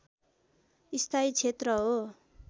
स्थायी क्षेत्र हो